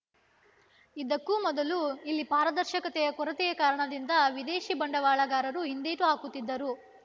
ಇದಕ್ಕೂ ಮೊದಲು ಇಲ್ಲಿ ಪಾರದರ್ಶಕತೆಯ ಕೊರತೆಯ ಕಾರಣದಿಂದ ವಿದೇಶಿ ಬಂಡವಾಳಗಾರರು ಹಿಂದೇಟು ಹಾಕುತ್ತಿದ್ದರು